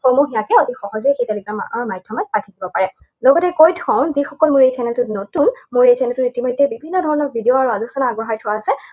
সমূহীয়াকে অতি সহজে Telegram মাধ্যমত পাই থাকিব পাৰে। লগতে কৈ থওঁ যিসকল মোৰ এই channel টোত নতুন, মই এই channel টোত ইতিমধ্যে বিভিন্ন ধৰণৰ video আৰু আলোচনা আগবঢ়াই থোৱা আছে।